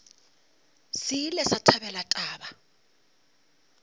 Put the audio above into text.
se ile sa thabela taba